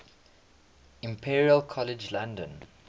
imperial college london